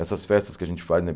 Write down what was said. Essas festas que a gente faz, né?